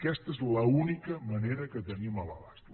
aquesta és l’única manera que tenim a l’abast